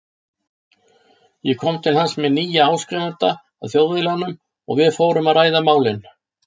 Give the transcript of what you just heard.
Ég kom til hans með nýjan áskrifanda að Þjóðviljanum og við fórum að ræða málin.